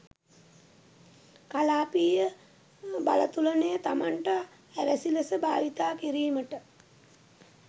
කලාපීය බලතුලන‍ය තමන්ට අවැසි ලෙස භාවිතා කිරීමට